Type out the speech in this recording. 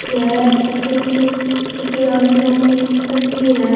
यह किसी की किसी आदमियों की तस्वीर है।